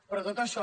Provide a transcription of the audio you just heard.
però tot això